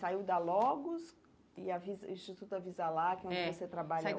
Saiu da Logos e Avisa Instituto Avisalá, que é é onde você trabalha